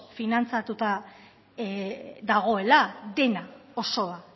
finantzatuta dagoela dena osoa